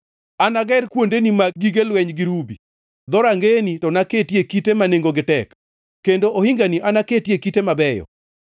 Anager kuondeni mag gige lweny gi rubi, dhorangeyeni to naketie kite ma nengogi tek, kendo ohingani naketie kite mabeyo.